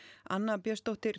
anna Björnsdóttir